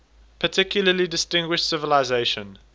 particularly distinguished civilization